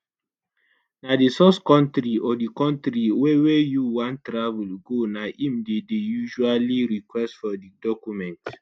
na di source kontri or di kontri wey wey you wan travel go na im dey dey usually request for di document